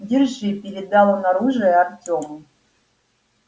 держи передал он оружие артёму